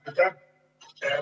Aitäh!